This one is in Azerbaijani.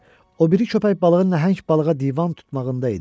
O biri köpək balığı nəhəng balığa divan tutmağında idi.